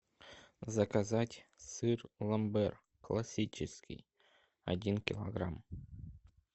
заказать сыр ламбер классический один килограмм